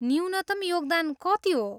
न्यूनतम योगदान कति हो?